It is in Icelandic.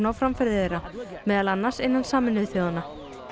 framferði þeirra meðal annars innan Sameinuðu þjóðanna